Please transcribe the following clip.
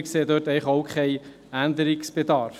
Wir sehen dort eigentlich auch keinen Änderungsbedarf.